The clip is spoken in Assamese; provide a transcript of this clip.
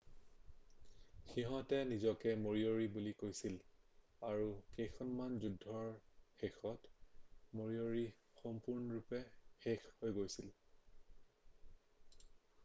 সিহঁতে নিজকে মৰিঅ'ৰি বুলি কৈছিল আৰু কেইখনমান যুদ্ধৰ শেষত মৰিঅ'ৰি সম্পূৰ্ণৰূপে শেষ হৈ গৈছিল